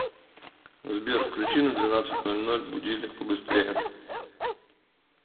сбер включи на двенадцать ноль ноль будильник побыстрее